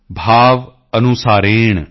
ਭਾਵ ਅਨੁਸਾਰੇਣ ਸਦਾ ਨਰਾਣਾਮ੍॥